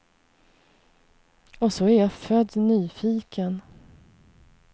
Och så är jag född nyfiken.